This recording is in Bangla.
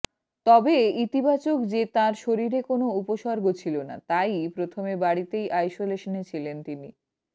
তবে ইতিবাচক যে তাঁর শরীরে কোনও উপসর্গ ছিল না তাই প্রথমে বাড়িতেই আইসোলেশনে ছিলেন তিনি